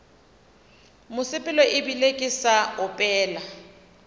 mosepelo ebile ke sa opela